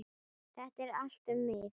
Þetta er allt um mig!